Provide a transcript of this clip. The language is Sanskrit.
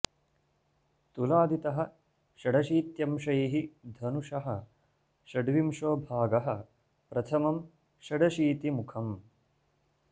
तुलादितः षडशीत्यंशैः धनुषः षड्विंशो भागः प्रथमं षड शीतिमुखम्